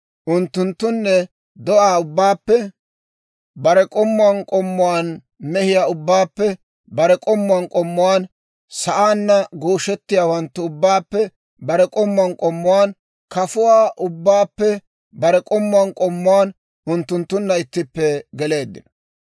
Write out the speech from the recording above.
Unttunttune do'aa ubbaappe bare k'ommuwaan k'ommuwaan, mehiyaa ubbaappe bare k'ommuwaan k'ommuwaan, sa'aanna gooshettiyaawanttu ubbaappe bare k'ommuwaan k'ommuwaan, kafuwaa ubbaappe bare k'ommuwaan k'ommuwaan, unttunttunna ittippe geleeddino;